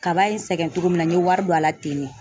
Kaba ye n sɛgɛn cogo min na, n ye wari don a la ten de .